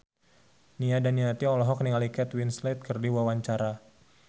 Nia Daniati olohok ningali Kate Winslet keur diwawancara